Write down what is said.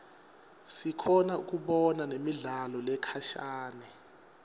sikhona kubona nemidlalo lekhashane